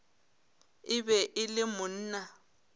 e be e le monna